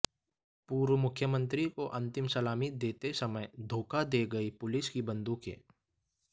पूर्व मुख्यमंत्री को अंतिम सलामी देते समय धोखा दे गईं पुलिस की बंदूकें